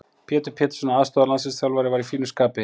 Pétur Pétursson aðstoðarlandsliðsþjálfari var í fínu skapi.